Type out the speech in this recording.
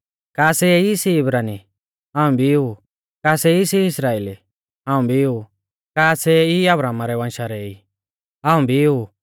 का सै ई सी इब्रानी हाऊं भी ऊ का सै ई सी इस्राइली हाऊं भी ऊ का सै ई अब्राहमा रै वंशा रै ई हाऊं भी ऊ